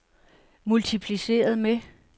multipliceret med